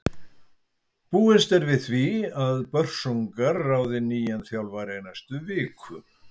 Búist er við því að Börsungar ráði nýjan þjálfara í næstu viku.